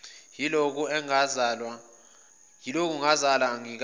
yilokhu ngazalwa angikaze